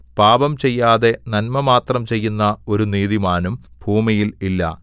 പാപം ചെയ്യാതെ നന്മമാത്രം ചെയ്യുന്ന ഒരു നീതിമാനും ഭൂമിയിൽ ഇല്ല